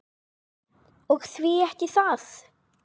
Og því ekki það?